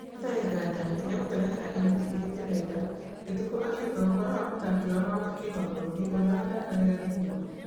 Hatarĩ nganja nĩagũtũrehera ihoto iria tũrenda, Gĩtũkũ akiuga ũhoro wa Mũthaki wao wa kĩmabũrũri ũrĩa wathakagĩra Gĩthima.